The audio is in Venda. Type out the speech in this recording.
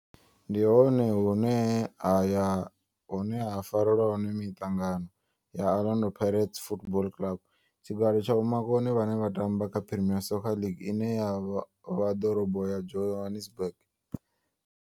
Ndi hone hune haya hune ha farelwa hone mitangano ya Orlando Pirates Football Club. Tshigwada tsha vhomakone vhane vha tamba kha Premier Soccer League ine ya vha ḓorobo ya Johannesburg.